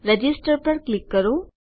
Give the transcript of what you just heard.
register પર click કરો